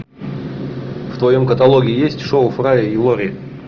в твоем каталоге есть шоу фрая и лори